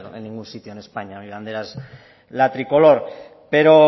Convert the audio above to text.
en ningún sitio en españa mi bandera es la tricolor pero